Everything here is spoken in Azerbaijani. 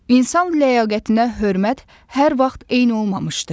İnsan ləyaqətinə hörmət hər vaxt eyni olmamışdı.